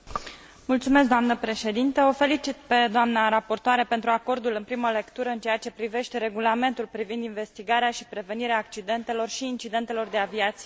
O felicit pe doamna raportoare pentru acordul în primă lectură în ceea ce privește regulamentul privind investigarea și prevenirea accidentelor și incidentelor de aviație civilă.